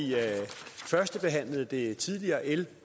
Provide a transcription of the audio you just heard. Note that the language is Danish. førstebehandlede det tidligere l en